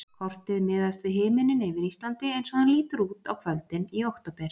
Kortið miðast við himininn yfir Íslandi eins og hann lítur út á kvöldin í október.